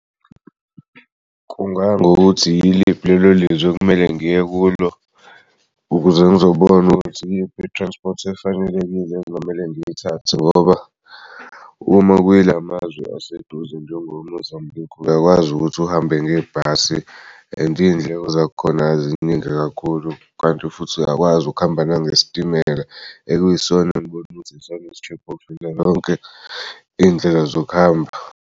Kungaya ngokuthi yiliphi lelo lizwi okumele ngiye kulo ukuze ngizobona ukuthi iyiphi i-transport efanelekile engamele ngiy'thathe ngoba uma kuyila mazwe aseduze njengo-Mozambique uyakwazi ukuthi uhambe ngebhasi and iy'ndleko zakhona eziningi kakhulu kanti futhi uyakwazi ukuhamba ngesitimela ekuyisona iy'ndleko zokuhamba.